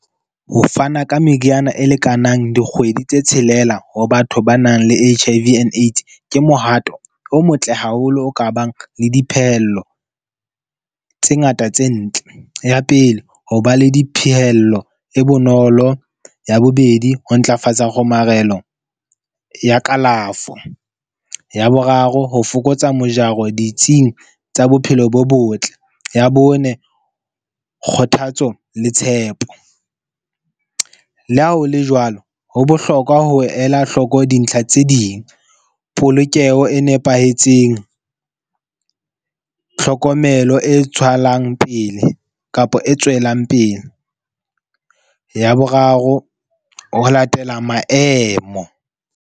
Ho fana ka meriana e lekanang dikgwedi tse tshelela ho batho ba nang le H_I_V and AIDS ke mohato o motle haholo, o ka bang le diphehello tse ngata tse ntle. Ya pele, ho ba le diphehello e bonolo. Ya bobedi, ho ntlafatsa kgomarelo ya kalafo. Ya boraro, ho fokotsa mojaro ditsing tsa bophelo bo botle. Ya bone, kgothatso le tshepo. Le ha ho le jwalo, ho bohlokwa ho ela hloko dintlha tse ding, polokeho e nepahetseng, tlhokomelo e tswalang pele kapa e tswelang pele. Ya boraro, ho latela maemo.